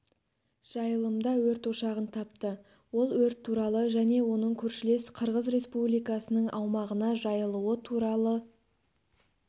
жайылымда өрт ошағын тапты ол өрт туралы және оның көршілес қырғыз республикасының аумағына жайылуы туралы